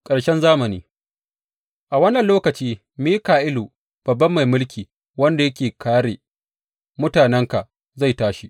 Ƙarshe zamani A wannan lokaci Mika’ilu, babban mai mulki wanda yake kāre mutanenka, zai tashi.